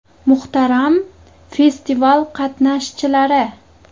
Muhtaram festival qatnashchilari!